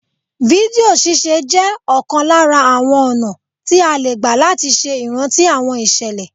Fídíò ṣíṣe jẹ́ ọ̀kan lára àwọn ọ̀nà tí a lè gbà láti ṣe ìrántí àwọn ìṣẹ̀lẹ̀